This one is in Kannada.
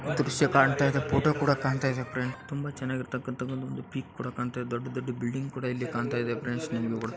ದ್ರಶ್ಯ ಕಾಣ್ತಾ ಇದೆ ಫೋಟೋ ಕೂಡ ಕಾಣ್ತಾ ಇದೆ ಫ್ರೆಂಡ್ಸ್ ತುಂಬಾ--